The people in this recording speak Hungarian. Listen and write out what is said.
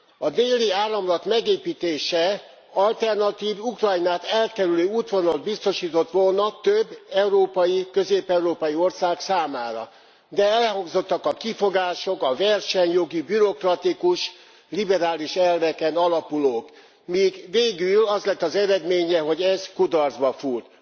A Déli Áramlat megépítése alternatív, Ukrajnát elkerülő útvonalat biztosított volna több európai, közép európai ország számára, de elhangzottak a kifogások a versenyjogi, bürokratikus, liberális elveken alapulók, míg végül az lett az eredménye, hogy ez kudarcba fúlt.